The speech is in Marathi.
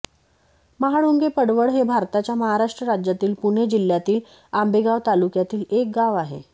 महाळुंगे पडवळ हे भारताच्या महाराष्ट्र राज्यातील पुणे जिल्ह्यातील आंबेगाव तालुक्यातील एक गाव आहे